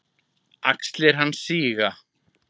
Axlir hans síga.